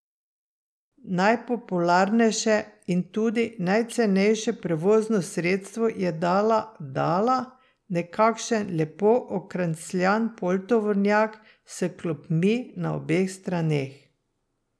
Najpopularnejše in tudi najcenejše prevozno sredstvo je dala dala, nekakšen lepo okrancljan poltovornjak s klopmi na obeh straneh.